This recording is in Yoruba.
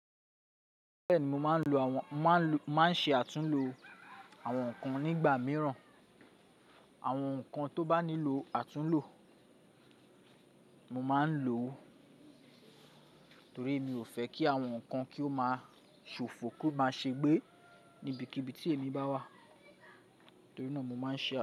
Bẹ́ẹ̀ni, mo máa ń lo àwọn, máa ń ṣe àtúnlo àwọn nǹkan nígbà mìíràn, àwọn nǹkan tó bá nílò àtúnlo. Mo máa ń lò ó torí mi ò fẹ́ kí àwọn nǹkan kí ó máa ṣòfò kó máa ṣe gbé níbikíbi tí èmi bá wà. Torí náà mo máa ń ṣe àtúnlo.